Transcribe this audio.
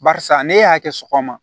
Barisa ne y'a kɛ sɔgɔma